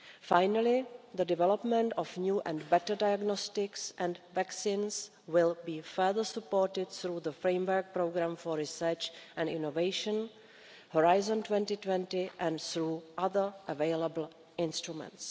Finally, the development of new and better diagnostics and vaccines will be further supported through the framework programme for research and innovation, Horizon 2020 and through other available instruments.